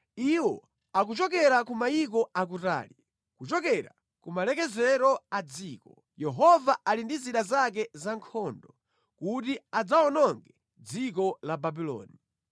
Iwo akuchokera ku mayiko akutali, kuchokera kumalekezero a dziko Yehova ali ndi zida zake za nkhondo kuti adzawononge dziko la Babuloni.